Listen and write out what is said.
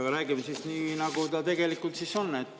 Jah, räägime siis nii, nagu see tegelikult on.